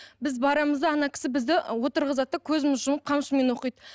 біз барамыз да ана кісі бізді отырғызады да көзімізді жұмып қамшымен оқиды